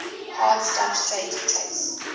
hard substrate trace